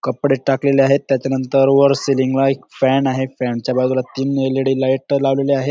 कपडे टाकलेले आहेत त्याच्या नंतर वर सीलिंग ला एक फॅन आहे फॅन च्या बाजूला तीन एल.ई.डी. लावलेले आहेत.